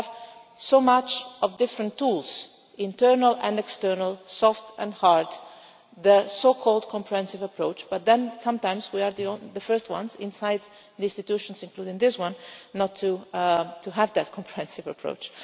We have so many different tools internal and external, soft and hard the so called comprehensive approach but then sometimes we are the first ones inside the institutions, including this one, not to have that comprehensive approach.